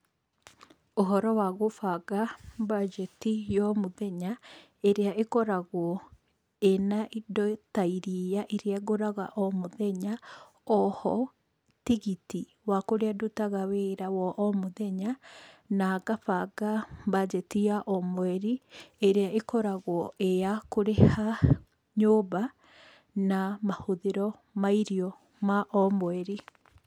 Ũhoro wa gũbanga mbanjeti ya o mũthenya, ĩrĩa ĩkoragwo ĩna indo ta iria iria ngũraga o mũthenya, oho, tigiti wa kũrĩa ndutaga wĩra wa o mũthenya, na ngabanga mbanjeti ya o mweri ĩrĩa ĩkoragwo ĩyakũrĩha nyũmba na mahũthĩro ma irio ma o mweri.